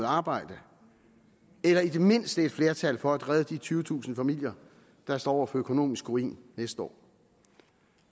arbejde eller i det mindste et flertal for at redde de tyvetusind familier der står over for økonomisk ruin næste år